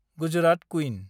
Gujarat queen